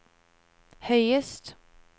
høyest